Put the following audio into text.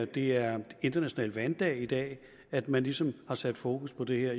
det er international vanddag i dag at man ligesom har sat fokus på det her